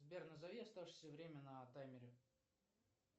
сбер назови оставшееся время на таймере